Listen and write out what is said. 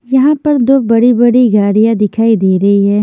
यहां पर दो बड़ी-बड़ी गाड़ियां दिखाई दे रही है।